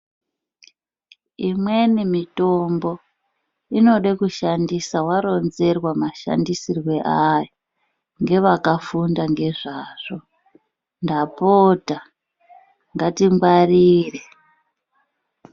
Imweni mitombo inode kushandisa waronzerwa mashandisirwe ayo ngevakafunda ngezvazvo ndapota ngatingwarire.